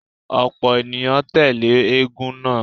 Ọ̀pọ̀ ènìyàn tẹ́lẹ̀ eégún náà.